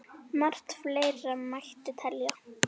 Margt fleira mætti telja.